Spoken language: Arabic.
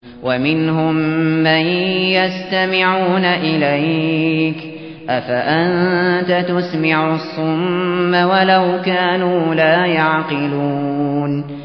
وَمِنْهُم مَّن يَسْتَمِعُونَ إِلَيْكَ ۚ أَفَأَنتَ تُسْمِعُ الصُّمَّ وَلَوْ كَانُوا لَا يَعْقِلُونَ